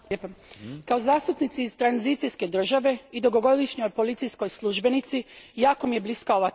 Kao zastupnici iz tranzicijske države i dugogodišnjoj policijskoj službenici jako mi je bliska ova tema.